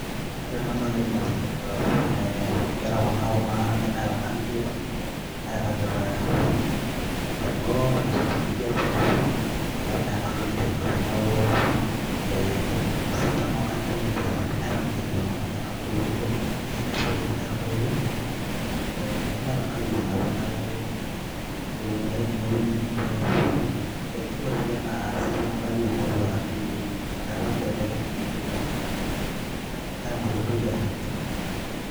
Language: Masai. ore ena naa kaidim atejo nkera kuna, kuna nemeeta nkangitie nairagita temboo einosita enkijape amu meeta nkangitie napuo. neaku meeta ninche enapuo amu meeta intoiwuo neemeta nkangitie naapuo neeku ewueji ake neinepunyie ninche. ore ninche naa isitan oonkajijik ingoru ashurie